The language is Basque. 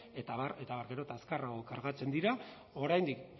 eta abar eta abar gero eta azkarrago kargatzen dira oraindik